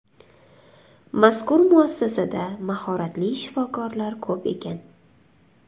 Mazkur muassasada mahoratli shifokorlar ko‘p ekan.